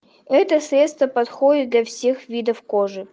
это средство подходит для всех видов кожи